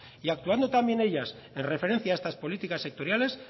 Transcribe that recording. y actuando también ellas en referencia a estas políticas sectoriales